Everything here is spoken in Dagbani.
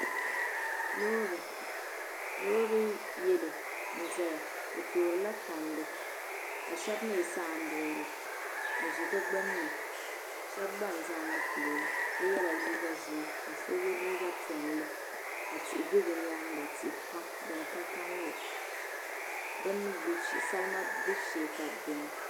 Loori. loori yalow. nzaya o toorila tandi kashab mi sa ambilela. n zi di gbin ni. shab gba n zɛ n. ŋɔ polɔ la. so. yala liiga. zɛɛ kaso yɛ liiga. piɛli ka tihi bɛ bi. nyaaŋa. tihi pam. din ka, kalinli. salima. gbib shee, ka bi bɛ maa.